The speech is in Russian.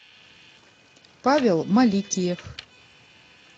павел маликиев